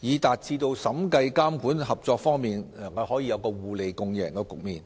讓審計、監管、合作3方面可以達致互利共贏的局面。